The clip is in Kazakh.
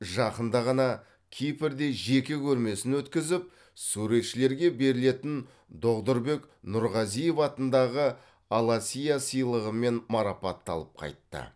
жақында ғана кипрде жеке көрмесін өткізіп суретшілерге берілетін доғдұрбек нұрғазиев атындағы аласиа сыйлығымен марапатталып қайтты